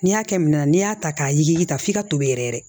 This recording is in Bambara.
N'i y'a kɛ minɛn na n'i y'a ta k'a yiri ta f'i ka tobi yɛrɛ yɛrɛ